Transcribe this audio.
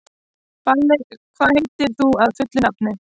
Balli, hvað heitir þú fullu nafni?